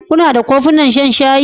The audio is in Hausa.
Kuna da kofunan shan shayi?